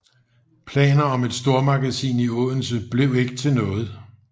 Planer om et stormagasin i Odense blev ikke til noget